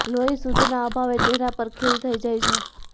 લોહી શુદ્ધના અભાવે ચહેરા પર ખીલ થઇ જાય છે